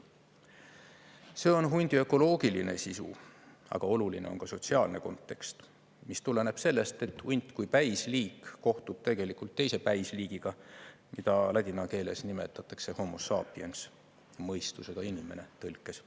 See on hundi ökoloogiline sisu, aga oluline on ka sotsiaalne kontekst, mis tuleneb sellest, et hunt kui päisliik kohtub tegelikult teise päisliigiga, mida ladina keeles nimetatakse Homo sapiens, tõlkes "mõistusega inimene".